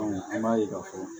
an b'a ye k'a fɔ